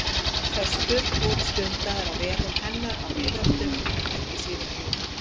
Föstur voru stundaðar á vegum hennar á miðöldum ekki síður en nú.